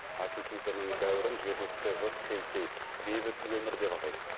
акихитоның дәуірін жергілікті жұрт хейсэй бейбіт өмір деп атайды